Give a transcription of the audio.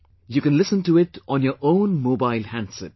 You can listen to it on your own mobile handset